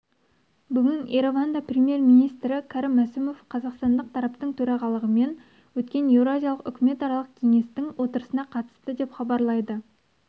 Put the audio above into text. бүгін ереванда премьер-министрі кәрім мәсімов қазақстандық тараптың төрағалығымен өткен еуразиялық үкіметаралық кеңестің отырысына қатысты деп хабарлайды